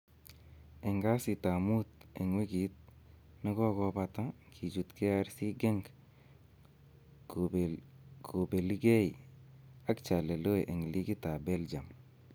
En kasitab mut en wigit ne kogobata, kichut KRC Genk kobeligei ak Charleroi en ligit ab Belgium